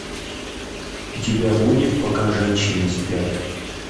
у тебя будет пока женщины спят